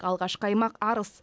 алғашқы аймақ арыс